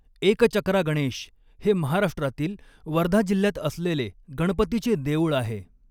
एकचक्रा गणेश हे महाराष्ट्रातील वर्धा जिल्ह्यात असलेले गणपतीचे देउळ आहे.